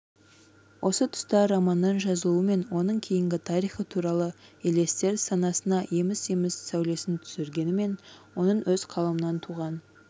осы тұста романының жазылуы мен оның кейінгі тарихы туралы елестер санасына еміс-еміс сәулесін түсіргенімен оның өз қаламынан туған